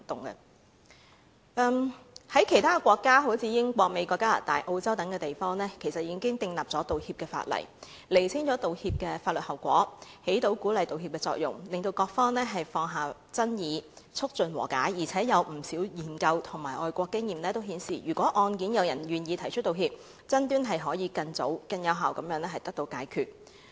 在其他國家如英國、美國、加拿大、澳洲等地，其實已訂立道歉法例，釐清了道歉的法律後果，起到鼓勵道歉的作用，讓各方放下爭議，促進和解；而且有不少研究和外國經驗均顯示，如果案件有人願意提出道歉，爭端可以更早及更有效地解決。